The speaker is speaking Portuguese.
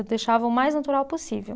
Eu deixava o mais natural possível.